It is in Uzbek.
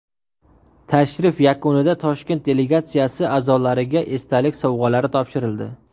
Tashrif yakunida Toshkent delegatsiyasi a’zolariga esdalik sovg‘alari topshirildi.